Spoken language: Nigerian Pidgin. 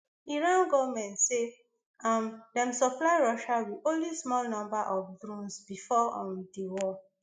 iran goment say um dem supply russia wit only small number of drones bifor um di war